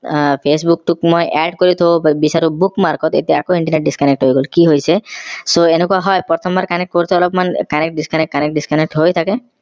facebook টোক মই add কৰি থব বিচাৰো book mark ত এতিয়া আকৌ internet disconnect হৈ গল কি হৈছে so এনেকুৱা হয় প্ৰথমাবৰ connect কৰোতে অলপ মান connect disconnect connect disconnect হৈ থাকে